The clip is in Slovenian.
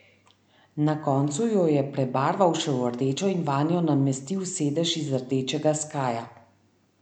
Na koncu jo je prebarval še v rdečo in vanjo namestil sedež iz rdečega skaja.